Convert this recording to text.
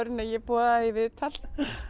en ég boðaði þig í viðtal